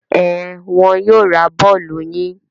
Ẹn, wọn yóò ra bọ́ọ́lù yín.